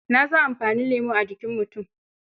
Na san amfanin lemo a jikin mutum.